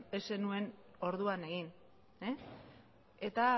ez zenuen orduan egin eta